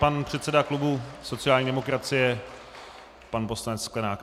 Pan předseda klubu sociální demokracie pan poslanec Sklenák.